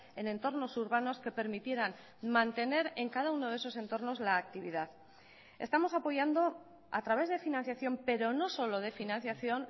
en entornos urbanos que permitieran mantener en cada uno de esos entornos la actividad estamos apoyando a través de financiación pero no solo de financiación